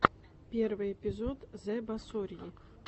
первый эпизод зэбасорьи